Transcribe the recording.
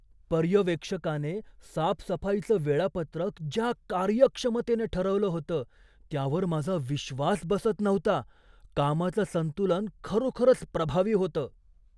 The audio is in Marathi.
पर्यवेक्षकाने साफसफाईचं वेळापत्रक ज्या कार्यक्षमतेने ठरवलं होतं त्यावर माझा विश्वास बसत नव्हता! कामाचं संतुलन खरोखरच प्रभावी होतं.